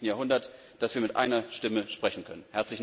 21. Jahrhundert, dass wir mit einer Stimme sprechen können.